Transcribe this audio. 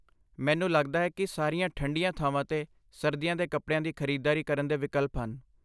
ਮੈਨੂੰ ਲੱਗਦਾ ਹੈ ਕਿ ਸਾਰੀਆਂ ਠੰਡੀਆਂ ਥਾਵਾਂ 'ਤੇ ਸਰਦੀਆਂ ਦੇ ਕੱਪੜਿਆਂ ਦੀ ਖਰੀਦਦਾਰੀ ਕਰਨ ਦੇ ਵਿਕਲਪ ਹਨ।